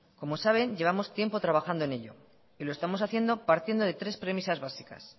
como sabe llevamos tiempo trabajando en ello y lo estamos haciendo partiendo de tres premisas básicas